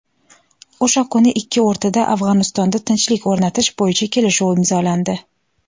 O‘sha kuni ikki o‘rtada "Afg‘onistonda tinchlik o‘rnatish bo‘yicha" kelishuv imzolandi.